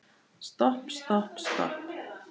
Stopp, stopp, stopp.